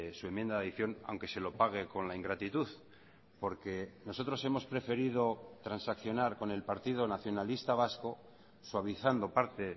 su enmienda de adición aunque se lo pague con la ingratitud porque nosotros hemos preferido transaccionar con el partido nacionalista vasco suavizando parte